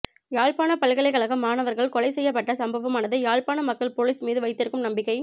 யாழ்ப்பாண பல்கலைக்கழக மாணவர்கள் கொலை செய்யப்பட்ட சம்பவமானது யாழ்ப்பாண மக்கள் பொலிஸ் மீது வைத்திருக்கும் நம்பிக்கை